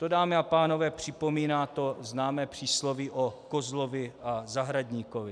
To, dámy a pánové, připomíná to známé přísloví o kozlovi a zahradníkovi.